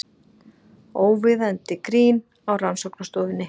Óviðeigandi grín á rannsóknarstofunni